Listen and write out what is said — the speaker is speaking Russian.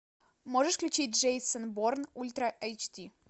можешь включить джейсон борн ультра эйч ди